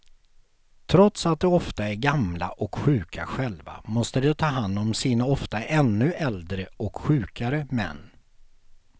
Trots att de ofta är gamla och sjuka själva måste de ta hand om sina ofta ännu äldre och sjukare män.